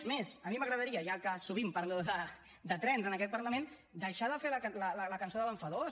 és més a mi m’agradaria ja que sovint parlo de trens en aquest parlament deixar de fer la cançó de l’enfadós